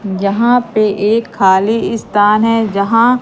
जहां पे एक खाली स्थान है जहां--